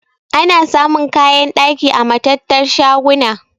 Ana samun kayan ɗaki a matattar shaguna.